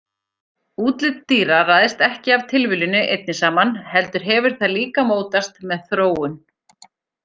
Útlit dýra ræðst ekki af tilviljuninni einni saman heldur hefur það líka mótast með þróun.